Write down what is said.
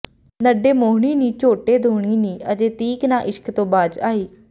ਨੱਢੇ ਮੋਹਣੀ ਨੀ ਝੋਟੇ ਦੋਹਨੀ ਨੀ ਅਜੇ ਤੀਕ ਨਾ ਇਸ਼ਕ ਤੋਂ ਬਾਜ਼ ਆਈ